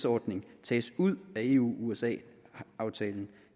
ordning tages ud af eu usa aftalen